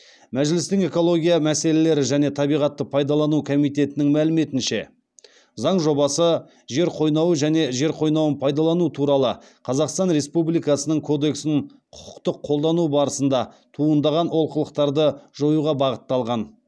мәжілістің экология мәселелері және табиғатты пайдалану комитетінің мәліметінше заң жобасы жер қойнауы және жер қойнауын пайдалану туралы қазақстан республикасының кодексін құқықтық қолдану барысында туындаған олқылықтарды жоюға бағытталған